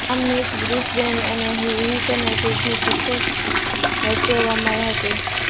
આ match Brisbane Heat અને Sydney Sixers વચ્ચે રમાઇ હતી